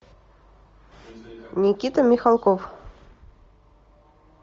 никита михалков